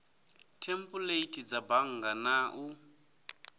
thempuleithi dza bannga na u